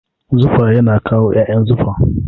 Zufa yana kawo ƴaƴan zufa.